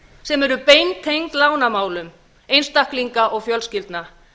sem eru beintengd lánamálum einstaklinga og fjölskyldna